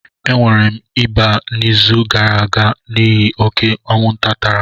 E nwere m ịba n'izu gara aga n'ihi oke anwụnta tara m.